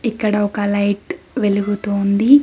ఇక్కడ ఒక లైట్ వెలుగుతూ ఉంది.